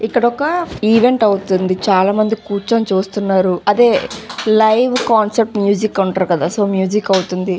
ఇక్కడ వక ఈవెంట్ అవుతుంది చాలా మంది కూర్చుని చుస్తునారు అదే లైవ్ కాన్సర్ట్ మ్యూజిక్ అంట్రు కదా సో మ్యూజిక్ అవుతుంది.